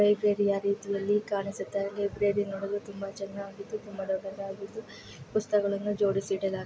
ಲೈಬ್ರೆರಿಯ ರೀತಿಯಲ್ಲಿ ಕಾಣಿಸುತ್ತಿದೆ ಲೈಬ್ರೆರಿ ನೋಡಲು ತುಂಬಾ ಚೆನ್ನಾಗಿದ್ದು ತುಂಬಾ ದೊಡ್ಡದಾಗಿದ್ದು ಪುಸ್ತಕಗಳನ್ನು ಜೋಡಿಸಿಡಲಾಗಿದೆ.